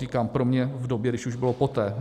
Podotýkám, pro mě v době, když už bylo poté.